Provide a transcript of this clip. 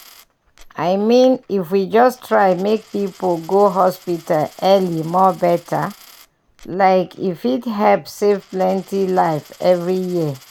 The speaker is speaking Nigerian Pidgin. i mean if we just try make people go hospital early more better like e fit help save plenty life every year.